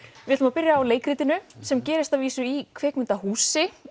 við ætlum að byrja á leikritinu sem gerist að vísu í kvikmyndahúsi